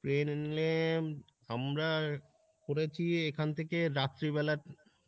plane এ আমরা করেছি এখান থেকে রাত্রি বেলা